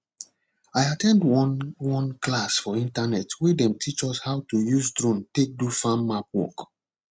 i at ten d one one class for internet wey dem teach us how to use drone take do farm map work